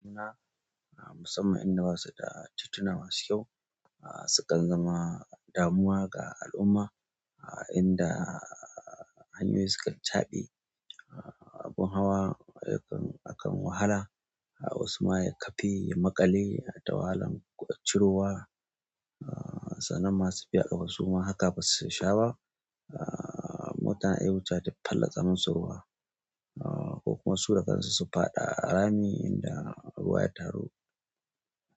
Musamman inda basu da tituna masu kyau sukan zama damuwa ga al umma a inda hanyoyi sukan caɓe, abin hawa yakan akan wahala, wasu ma ya kafe ya maƙale, tawahalan cirowa, a sannan masu fiya ƙafa suma haka ba su sha ba. A mota na iya wuce ta fallatsa masu ruwa, a ko kuma su da kansu su faɗa rami inda ruwa ya taru.